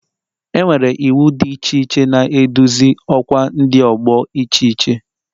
Enwere iwu dị iche iche na-eduzi ọkwa Ndi ọgbọ iche iche